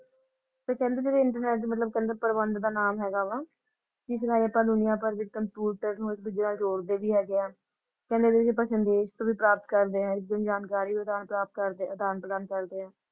ਤੇ ਕਹਿੰਦੇ ਵੀ internet ਦੇ ਮਤਲਬ ਪਾਰਪ੍ਰਬੰਧ ਨਾਮ ਹੈਗਾ ਵਾ ਹੈਗੇ ਹਾਂ ਸੰਦੇਸ਼ ਵੀ ਪ੍ਰਾਪਤ ਵੀ ਕਰਦੇ ਹਾਂ ਜਾਣਕਾਰੀ ਅਦਾਨ-ਪ੍ਰਦਾ ਕਰਦੇ ਅਦਾਨ-ਪ੍ਰਦਾਨ ਕਰਦੇ ਹਾਂ ।